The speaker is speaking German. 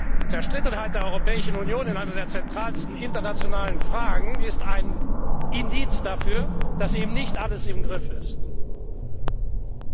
Die Zerstrittenheit der Europäischen Union in einer der zentralsten internationalen Fragen ist ein Indiz dafür, dass man eben nicht alles im Griff hat.